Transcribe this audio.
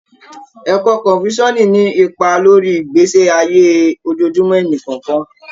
Ẹkọ Kọ̀nfúṣíọ̀sì ní ipa lórí ìgbésí ayé ojojúmó ẹníkọ̀ọ̀kan.